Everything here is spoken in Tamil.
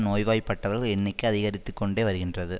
நோய்வாய்ப்பட்டவர்கள் எண்ணிக்கை அதிகரித்துக்கொண்டே வருகின்றது